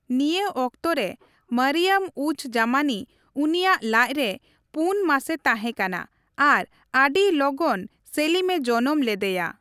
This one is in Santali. ᱱᱤᱭᱟᱹ ᱚᱠᱛᱚ ᱨᱮ, ᱢᱚᱨᱤᱭᱚᱢᱼᱩᱡᱼᱡᱟᱢᱟᱱᱤ ᱩᱱᱤᱭᱟᱜ ᱞᱟᱡᱽ ᱨᱮ ᱯᱩᱱ ᱢᱟᱥᱮ ᱛᱟᱦᱮᱸᱠᱟᱱᱟ ᱟᱨ ᱟᱹᱰᱤ ᱞᱚᱜᱚᱱ ᱥᱮᱞᱤᱢᱼᱮ ᱡᱚᱱᱚᱢ ᱞᱮᱫᱮᱭᱟ ᱾